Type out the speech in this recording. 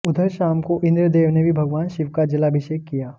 उधर शाम को इंद्रदेव ने भी भगवान शिव का जलाभिषेक किया